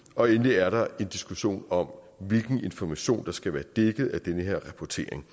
og endelig er der en diskussion om hvilken information der skal være dækket af den her rapportering